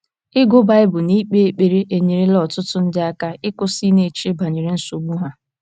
Ịgụ Baịbụl na ikpe ekpere enyerela ọtụtụ ndị aka ịkwụsị ịna -- eche banyere nsogbu ha.